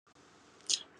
Ekomeli ya ba langi .